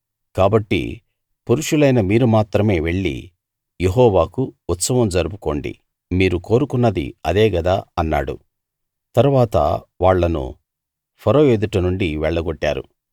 కాబట్టి పురుషులైన మీరు మాత్రమే వెళ్ళి యెహోవాకు ఉత్సవం జరుపుకోండి మీరు కోరుకున్నది అదే గదా అన్నాడు తరువాత వాళ్ళను ఫరో ఎదుట నుండి వెళ్ళగొట్టారు